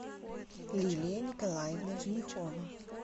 лилия николаевна женихова